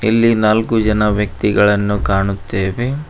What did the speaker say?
ಇಲ್ಲಿ ನಾಲ್ಕು ಜನ ವ್ಯಕ್ತಿಗಳನ್ನು ಕಾಣುತ್ತೇವೆ.